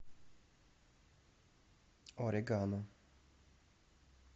орегано